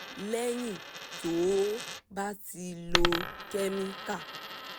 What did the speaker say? lẹ́yìn tó o bá ti lo kẹ́míkà